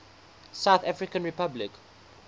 south african republic